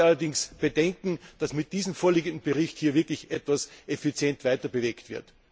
Ich habe allerdings Bedenken, dass mit dem vorliegenden Bericht hier wirklich etwas effizient weiterbewegt wird.